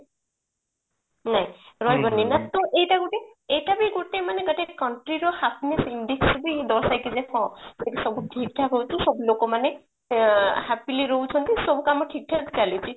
ନାଇଁ ରହିପାରିବନି that to ଏଇଟା ଗୋଟେ ଏଇଟା ବି ଗୋଟେ ମାନେ ଗୋଟେ country ର happiness index ରେ ବି ଦର୍ଶାଇଥାଏ ଯେ ହଁ ଯଦି ସବୁ ଠିକଠାକ ହଉଥିବେ ସବୁ ଲୋକମାନେ ଆଁ happily ରହୁଛନ୍ତି ସବୁ କାମ ଠିକଠାକ ଚାଲିଛି